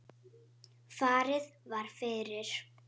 Farið var fyrir